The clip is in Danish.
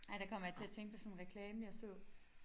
Ej der kommer jeg til at tænke på sådan en reklame jeg så